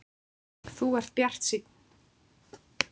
Þú ert bjartsýnn!